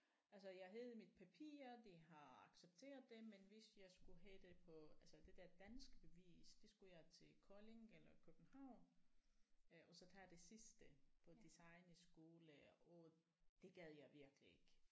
Altså jeg havde jo mit papir de har accepteret det men hvis jeg skulle have det på altså det der danske bevis det skulle jeg til Kolding eller København øh og så tage det sidste på designskole og det gad jeg virkelig ikke